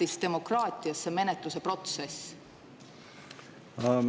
… ei ole demokraatias see menetluse protsess tähtis?